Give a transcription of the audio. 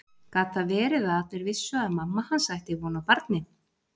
Gat það verið að allir vissu að mamma hans ætti von á barni?